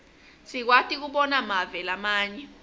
sikwati kobona mave lamanye